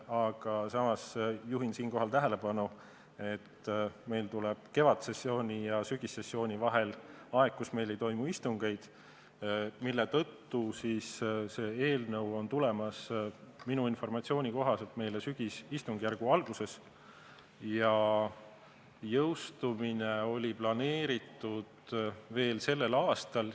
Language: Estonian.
Aga samas juhin siinkohal tähelepanu, et meil tuleb kevadsessiooni ja sügissessiooni vahel aeg, kui meil ei toimu istungeid, mille tõttu see eelnõu on tulemas minu informatsiooni kohaselt meile sügisistungjärgu alguses ja jõustumine on planeeritud veel sellel aastal.